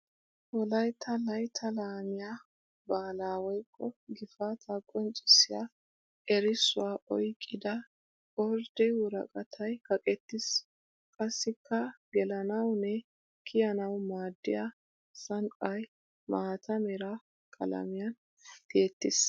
Wolaytta laytta laamiya baala woykko gifata qonccissiya erissuwa oyqqidda ordde woraqatay kaqettis. Qassikka gelannawunne kiyannawu maadiya sanqqay maata mera qalamiyan tiyettis.